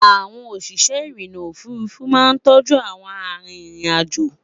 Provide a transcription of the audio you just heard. àwọn òṣìṣẹ́ irinna òfurufú má ń tóoju àwọn àrin ìrìn àjọ